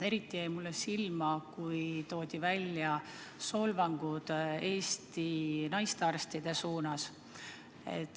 Eriti jäi mulle silma, kui toodi välja solvangud Eesti naistearstide pihta.